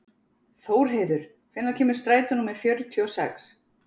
Þórheiður, hvenær kemur strætó númer fjörutíu og sex?